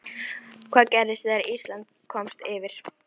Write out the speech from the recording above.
Hvað gerðist þegar Ísland komst yfir?